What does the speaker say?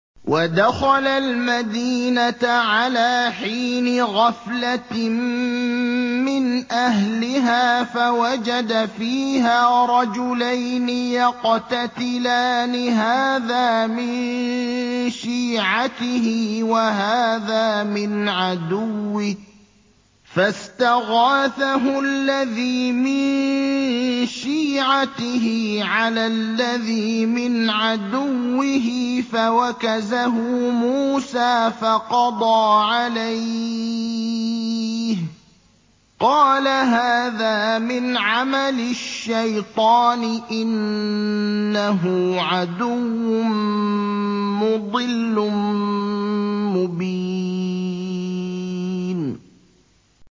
وَدَخَلَ الْمَدِينَةَ عَلَىٰ حِينِ غَفْلَةٍ مِّنْ أَهْلِهَا فَوَجَدَ فِيهَا رَجُلَيْنِ يَقْتَتِلَانِ هَٰذَا مِن شِيعَتِهِ وَهَٰذَا مِنْ عَدُوِّهِ ۖ فَاسْتَغَاثَهُ الَّذِي مِن شِيعَتِهِ عَلَى الَّذِي مِنْ عَدُوِّهِ فَوَكَزَهُ مُوسَىٰ فَقَضَىٰ عَلَيْهِ ۖ قَالَ هَٰذَا مِنْ عَمَلِ الشَّيْطَانِ ۖ إِنَّهُ عَدُوٌّ مُّضِلٌّ مُّبِينٌ